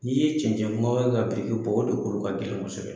N'i ye cɛncɛn kunbaba kɛ ka biriki bɛ, o de kolo ka gɛlɛn kosɛbɛ.